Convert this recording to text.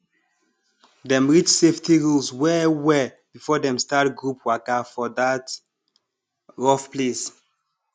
dem read safety rules wellwell before dem start group waka for that rough place